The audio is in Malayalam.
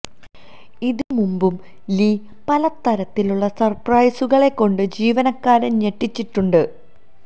ഇതിന് മുമ്പും ലീ പല തരത്തിലുള്ള സര്പ്രൈസുകള് കൊണ്ട് ജീവനക്കാരെ ഞെട്ടിച്ചിട്ടുണ്ട്